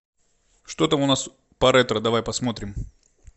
что там у нас по ретро давай посмотрим